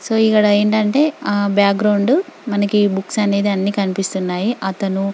so ఇక్కడ ఏంటంటే background మనకు బుక్స్ అనేది అన్ని కనిపిస్తున్నాయి అతను--